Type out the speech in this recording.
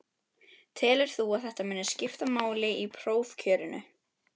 Telur þú að þetta muni skipta máli í prófkjörinu?